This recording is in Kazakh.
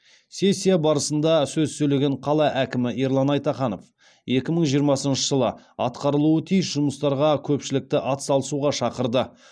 сессия барысында сөз сөйлеген қала әкімі ерлан айтаханов екі мың жиырмасыншы жылы атқарылуы тиіс жұмыстарға көпшілікті атсалысуға шақырды